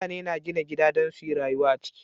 Mutane na gina gida Dan suyi rayuwa a ciki